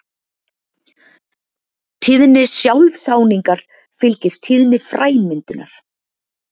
Tíðni sjálfsáningar fylgir tíðni fræmyndunar.